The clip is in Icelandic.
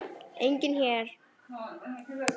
Enginn hér.